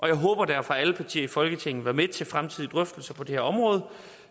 jeg håber derfor at alle partier i folketinget vil være med til fremtidige drøftelser på det her område